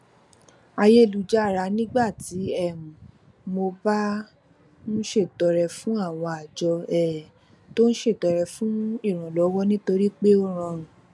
ayélujára nígbà tí um mo bá ń ṣètọrẹ fún àwọn àjọ um tó ń ṣètọrẹ fún ìrànlọwọ nítorí pé ó rọrùn